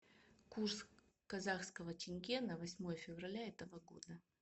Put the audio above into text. курс казахского тенге на восьмое февраля этого года